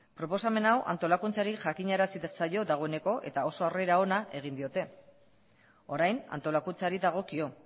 proposamen hau antolakuntzari jakinarazi zaio dagoeneko eta oso arrera ona egin diote orain antolakuntzari dagokio